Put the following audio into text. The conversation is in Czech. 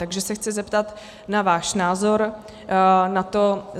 Takže se chci zeptat na váš názor na to.